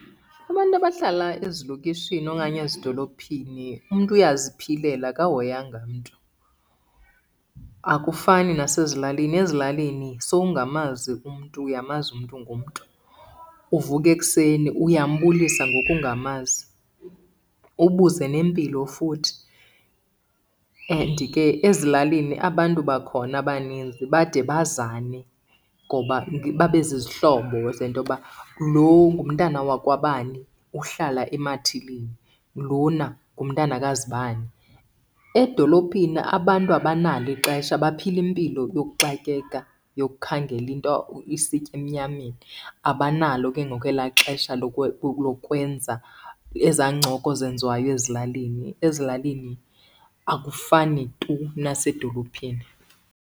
Abantu abahlala ezilokishini okanye ezidolophini umntu uyaziphilela akahoyanga mntu. Akufani nasezilalini, ezilalini sowungamazi umntu uyamazi umntu ngomntu. Uvuka ekuseni uyambulisa ngoku ungamazi ubuze nempilo futhi. And ke ezilalini abantu bakhona abaninzi bade bazane ngoba babe zizihlobo zentoba lo ngumntana wakwabani uhlala emathilini, lona ngumntana kazibani. Edolophini abantu abanalo ixesha baphila impilo yokuxakeka yokukhangela into isitya emnyameni. Abanalo ke ngoku ela xesha lokwenza eza ncoko zenziwayo ezilalini. Ezilalini akufani tu nasedolophini.